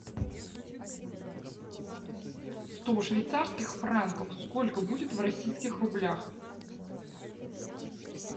сто швейцарских франков сколько будет в российских рублях